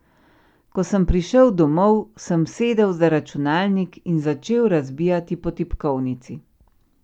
Ko sem prišel domov, sem sedel za računalnik in začel razbijati po tipkovnici.